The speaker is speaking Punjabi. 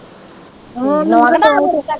ਹੋਰ .